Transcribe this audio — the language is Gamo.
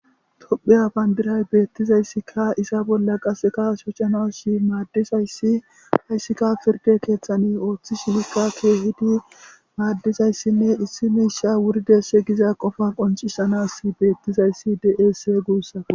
Hopheya bayndiray beettizayssika isa bolla qaseka shocana shi maaddisayssi hayssikka pirde keeththani ooththi shinikka keehidi maaddizayssinne issi miisha wuride se giza qofa qoncisanas beettizayssi deesee guussate.